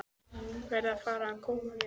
Verð að fara að koma mér.